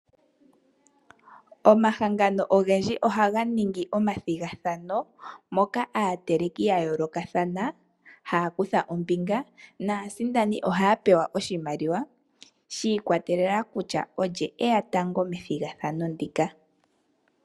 Omahangano ogendji ohaga ningi omathigathano moka aateleki ya yoolokathana haya kutha ombinga, naasindani ohaya pewa oshimaliwa shi ikwatelela kutya olye eya tango methigathano ndika.